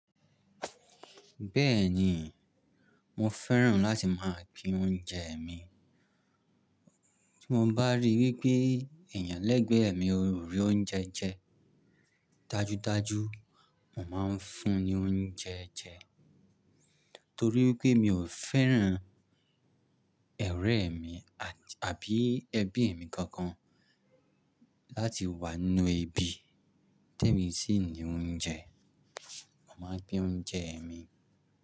Bẹ́ẹ̀ni, mo fẹ́ràn láti máa ṣe oúnjẹ mi. Bí mo bá rí wípé eeyan lẹ́gbẹ̀ẹ́ mi ó rí oúnjẹ jẹ, dájúdájú mo máa ń fún un ní oúnjẹ jẹ. Torí pé mi ò fẹ́ràn ọrẹ mi àbí ẹbí mi kankan láti wá ninú ebí te mi sì ní oúnjẹ. Mo máa gbé oúnjẹ mi.